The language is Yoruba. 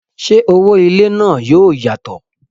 ṣé owó ilé náà yóò yàtọ̀?